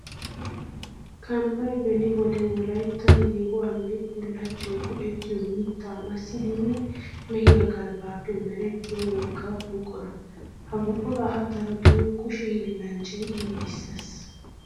Kambbay beni wode wolayttan yeehuwawunne bullachchawu go'ettiyo mitta masiddinne mehiya galbbappe merettiya wogaa buqura. Ha buqura darotto kushe hiillanchchay giigissees.